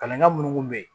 Kalan minnu kun bɛ yen